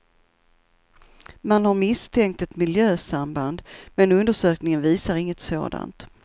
Man har misstänkt ett miljösamband, men undersökningen visar inget sådant.